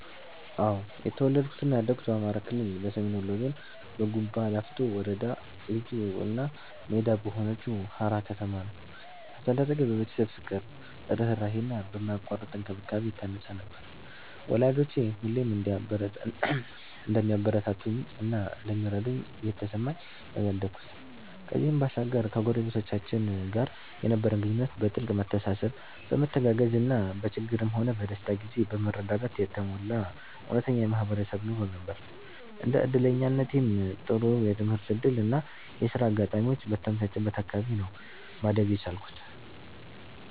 እኔ የተወለድኩት እና ያደኩት በአማራ ክልል፣ በሰሜን ወሎ ዞን፣ በጉባላፍቶ ወረዳ ልዩ እና ሜዳ በሆነችው ሃራ ከተማ ነው። አስተዳደጌ በቤተሰብ ፍቅር፣ ርህራሄ እና በማያቋርጥ እንክብካቤ የታነጸ ነበር፤ ወላጆቼ ሁሌም እንደሚያበረታቱኝ እና እንደሚረዱኝ እየተሰማኝ ነው ያደኩት። ከዚህም ባሻገር ከጎረቤቶቻችን ጋር የነበረን ግንኙነት በጥልቅ መተሳሰብ፣ በመተጋገዝ እና በችግርም ሆነ በደስታ ጊዜ በመረዳዳት የተሞላ እውነተኛ የማህበረሰብ ኑሮ ነበር። እንደ እድለኛነቴም ጥሩ የትምህርት እድል እና የሥራ አጋጣሚዎች በተመቻቸበት አካባቢ ነው ማደግ የቻልኩት።